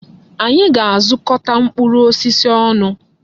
Anyị ga-azukọta mkpụrụ osisi ọnụ.